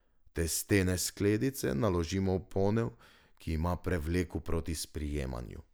Testene skledice naložimo v ponev, ki ima prevleko proti sprijemanju.